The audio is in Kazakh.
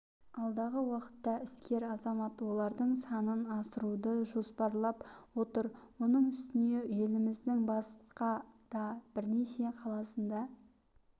алдағы уақытта іскер азамат олардың санын асыруды жоспарлап отыр оның үстіне еліміздің басқа да бірнеше қаласында